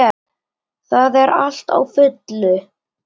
Það er allt á fullu.